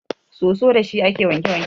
Soso dashi ake wanke wanke.